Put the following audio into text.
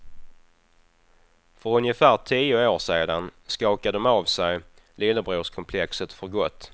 För ungefär tio år sedan skakade de av sig lillebrorskomplexet för gott.